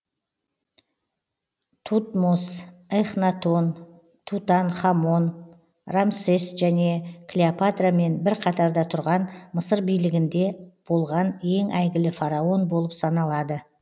тутмос эхнатон тутанхамон рамсес және клеопатрамен бір қатарда тұрған мысыр билігінде болған ең әйгілі фараон болып саналады